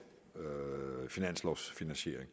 finanslovfinansiering